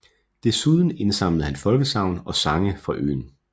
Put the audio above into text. Dessuden indsamlede han folkesagn og sange fra øen